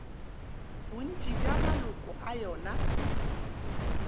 bontši bja maloko a yona